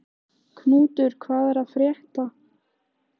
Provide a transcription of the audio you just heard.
Knútur, hvað er að frétta?